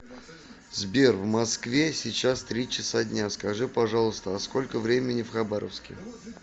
сбер в москве сейчас три часа дня скажи пожалуйста а сколько времени в хабаровске